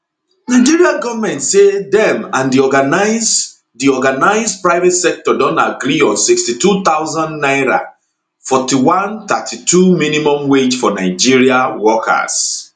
nigeria goment say dem and di organised di organised private sector don agree on 62000 naira 41 32 minimum wage for nigeria workers